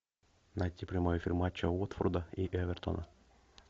найти прямой эфир матча уотфорда и эвертона